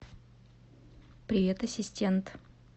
привет ассистент